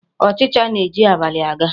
Ọchịcha na-eji abalị a ga